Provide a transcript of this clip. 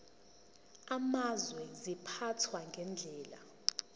amazwe ziphathwa ngendlela